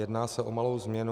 Jedná se o malou změnu.